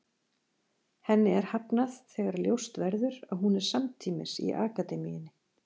Henni er hafnað þegar ljóst verður að hún er samtímis í akademíunni.